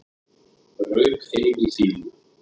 Rauk heim í fýlu